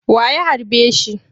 Wa ya harbe shi?